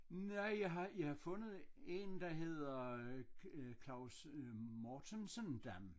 Nej jeg har jeg har fundet en der hedder Claus Mortensen Dam